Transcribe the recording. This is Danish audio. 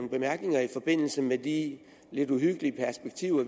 bemærkninger i forbindelse med de lidt uhyggelige perspektiver